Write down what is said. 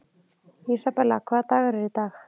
Isabella, hvaða dagur er í dag?